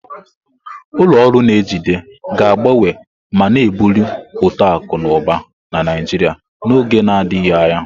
Ulọ ọrụ n'ejide ga-agbanwe ma na-ebuli uto akụ na ụba na Naijiria n'oge na-adịghị anya.